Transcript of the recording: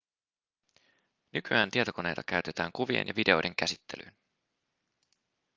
nykyään tietokoneita käytetään kuvien ja videoiden käsittelyyn